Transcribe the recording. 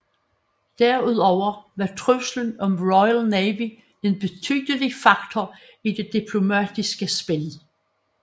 Derudover var truslen om Royal Navy en betydelig faktor i det diplomatiske spil